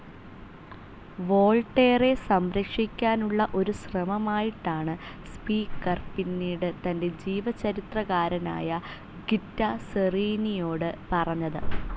വോൾട്ടേറെ സംരക്ഷിക്കാനുള്ള ഒരു ശ്രമമായിട്ടാണ് സ്പീക്കർ പിന്നീട് തൻ്റെ ജീവചരിത്രകാരനായ ഗിത്താർ സെറീനിയോട് പറഞ്ഞത്.